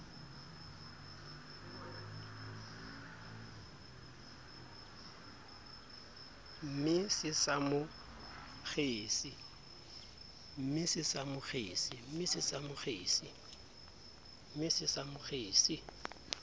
ne se sa mo kgese